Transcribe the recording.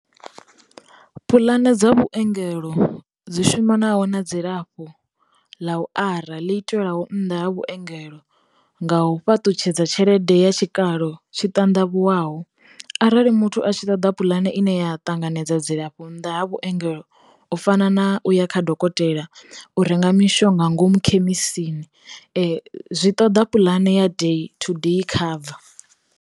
Pulane dza vhuengelo dzi shumanaho na dzilafho ḽa u ara ḽi itelwaho nnḓa ha vhuengelo nga u fhaṱutshedza tshelede ya tshikalo tshi tandavhuwaho, arali muthu a tshi ṱoḓa puḽane ine ya ṱanganedza dzilafho nnḓa ha vhuengelo u fana na u ya kha dokotela, u renga mishonga ngomu khemisini, zwi ṱoḓa puḽane ya day to day cover.